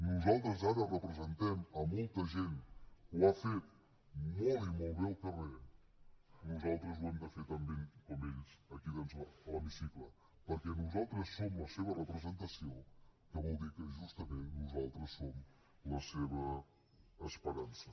nosaltres ara representem a molta gent que ho ha fet molt i molt bé al carrer nosaltres ho hem de fer tan bé com ells aquí doncs a l’hemicicle perquè nosaltres som la seva representació que vol dir que justament nosaltres som la seva esperança